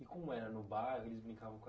E como era no bairro? Eles brincavam com a